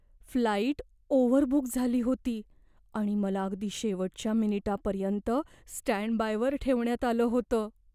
Flight overbook झाली होती आणि मला अगदी शेवटच्या मिनिटापर्यंत स्टँडबायवर ठेवण्यात आलं होतं.